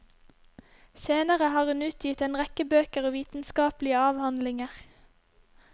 Senere har hun utgitt en rekke bøker og vitenskapelige avhandlinger.